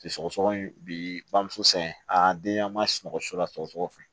Sɔgɔsɔgɔni bi bamuso san a denya ma sunɔgɔ so la sɔgɔsɔgɔni fɛ